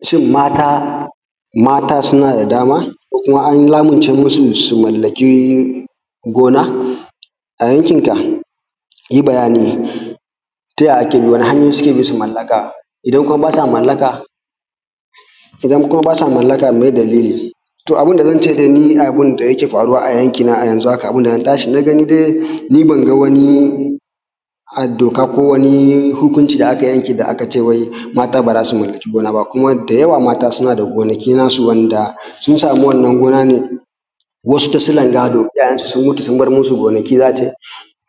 Shin mata, mata suna da dama ko kuma an lamince musu su mallaki gona a yankin ka? yi bayani taya ake bi? wani hanyoyi suke bi su mallaka? Idan kuma ba sa mallaka meye dalili? To abunda zance dai ni abunda yake faruwa a yankina a yanzu haka, abun da na tashi na gani dai ni banga wani doka ko wani hukunci da aka yanke ba wai mata baza su mallaki gona ba kuma da yawa mata suna da gonaki nasu, wanda sun samu wannan gona ne wasu ta silar gado, iyayen su sun mutu sun bar musu gonaki, zaka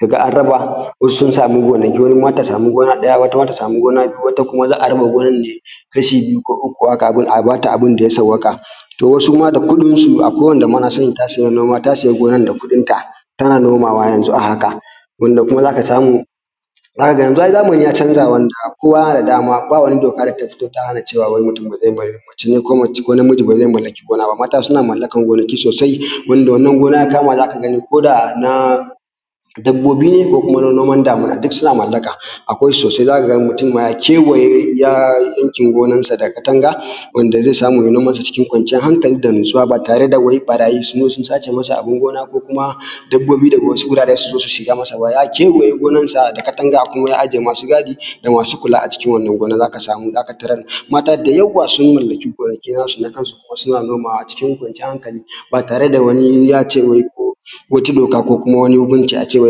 ga an raba, wasu sun samu gonaki, wata ma su sami gona ɗaya, wata ma ta samu gona biyu, wata kuma za a raba gonan ne kasha biyu ko uku haka, a bata abunda ya sawwaƙa. To wasu ma da kuɗin su akwai wanda ma na sani ta siya gonan da kuɗin ta, tana nomawa yanzu a haka, wanda kuma zaka samu yanzun ai zamani ya canja, zaka ga kowa yana da dama. Babu wata doka da tafito ta hana cewa wai mutum bazai mace ne ko namiji bazai mallaki gona ba, mata suna mallakan gonaki sosai wanda wannan gona ya kama zaka ga koda na dabbobi ne ko kuma na noman damina, duk suna mallaka, akwai shi sosai, zaka ga mutum ma ya kewaye gonan sa da katanga, wanda zai samu ya yi noman sa cikin kwanciyar hankali da natsuwa, ba tare da wai ɓarayi sun zo sun sace masa abun gona ko kuma dabbobi daga wasu guraren su zo su shiga mas aba, ya kewaye gonan sa da katanga ko ya aje masu gadi da masu kula a cikin wannan gona, zaka samu zaka tarar mata da yawa sun mallaki gonaki nasu na kan su, kuma suna nomawa a cikin kwanciyar hankali ba tare da wani yace wai ko wata doka ko wani hukunci ace wai.